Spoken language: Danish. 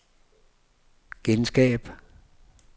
genskab